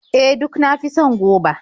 E, duk na fi son goba.